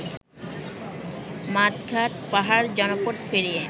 মাঠ-ঘাট-পাহাড়-জনপদ পেরিয়ে